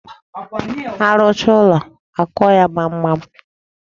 A rụchaa ụlọ, akụọ ya gbamgbam.